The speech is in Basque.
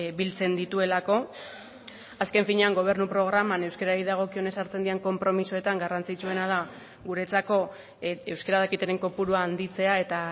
biltzen dituelako azken finean gobernu programan euskarari dagokionez hartzen diren konpromisoetan garrantzitsuena da guretzako euskara dakitenen kopurua handitzea eta